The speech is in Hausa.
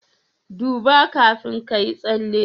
duba kafin kayi tsalle